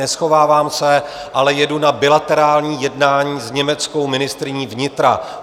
Neschovávám se, ale jedu na bilaterální jednání s německou ministryní vnitra.